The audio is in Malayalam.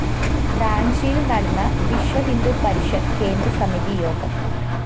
റാഞ്ചിയില്‍ നടന്ന വിശ്വഹിന്ദു പരിഷത്ത് കേന്ദ്രസമിതി യോഗം